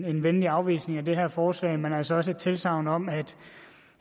venlig afvisning af det her forslag men altså også et tilsagn om